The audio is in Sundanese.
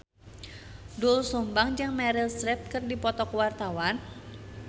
Doel Sumbang jeung Meryl Streep keur dipoto ku wartawan